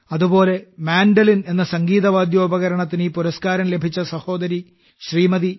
അതുപോലെ മാൻഡലിൻ എന്ന കർണാടക വാദ്യോപകരണത്തിന് ഈ പുരസ്കാരം ലഭിച്ച സഹോദരി ശ്രീമതി